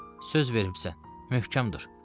Söz vermisən, möhkəm dur.